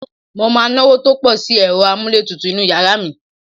Mo máa náwó tó pọ̀ sí ẹ̀rọ-amúlétutu inú yàrá mi.